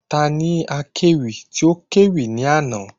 Ta ni akẹ́wì tí o kẹ́wì ní àná?